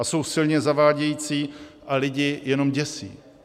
A jsou silně zavádějící a lidi jenom děsí.